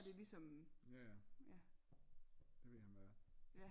Jaja det ved han hvad er